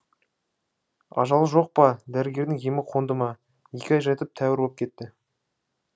ажал жоқ па дәрігердің емі қонды ма екі ай жатып тәуір боп кетті